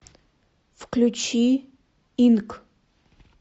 включи инк